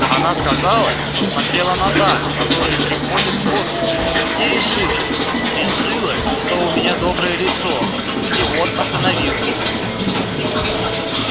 она сказала что смотрела на дам которые приходят в госпиталь и решила решила что у меня доброе лицо и вот остановила меня